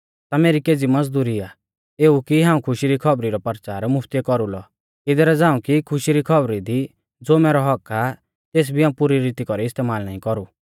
ता मेरी केज़ी मज़दुरी आ एऊ कि हाऊं खुशी री खौबरी रौ परचार मुफ्तिऐ कौरुलौ इदरा झ़ांऊ कि खुशी री खौबरी दी ज़ो मैरौ हक्क्क आ तेस भी हाऊं पुरी रीती कौरी इस्तेमाल नाईं कौरु